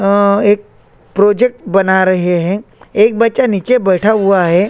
अअअ एक प्रोजेक्ट बना रहे है एक बच्चा नीचे बैठे हुए है।